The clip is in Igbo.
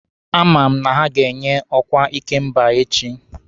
A ma m na ha ga-enye m ọkwa ikemba echi.